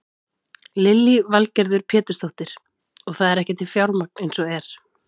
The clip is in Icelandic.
Lillý Valgerður Pétursdóttir: Og það er ekki til fjármagn eins og er?